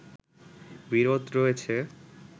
বিরোধ রয়েছে